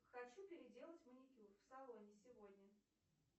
хочу переделать маникюр в салоне сегодня